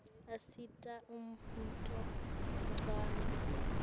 asita ummotfo unqawi